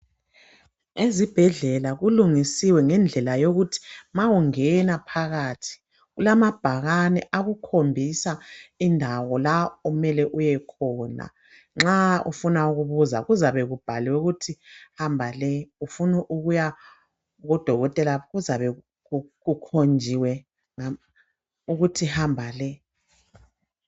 Ezibhedlela kulungisiwe ngendlela yokuthi ma ungena phakathi, kulamabhakane akhombisa indawo la okumele uyekhona, nxa ufuna ukubuza kuzabe kubhaliwe ukuthi hamba le. Ufunu kuyakudokotela kuzabe kukhonjiwe ukuthi hamba le.